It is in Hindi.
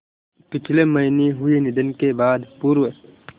पिछले महीने हुए निधन के बाद पूर्व